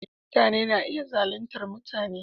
Mutane na iya zaluntar mutane.